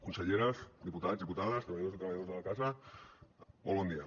conselleres diputats diputades treballadors i treballadores de la casa molt bon dia